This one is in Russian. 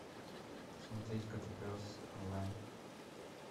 смотреть котопес онлайн